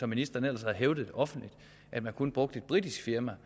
ministeren ellers hævdede offentligt at man kun brugte et britisk firma